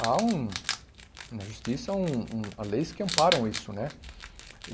Há um na justiça, há um um há leis que amparam isso, né?